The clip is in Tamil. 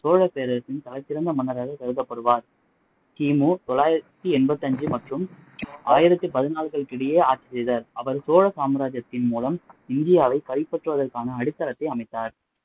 சோழப்பேரரசின் தலை சிறந்த மன்னராக கருதப்படுவார் கிமு தொள்ளாயிரத்தி எண்பத்தி அஞ்சு மற்றும் ஆயிரத்தி பதினால்களுக்கு இடையே ஆட்சி செய்தார் அவர் சோழ சாம்ராஜியத்தின் மூலம் இந்தியாவை கைப்பற்றுவதற்கான அடித்தலத்தை அமைத்தார்